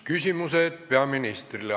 Küsimused peaministrile.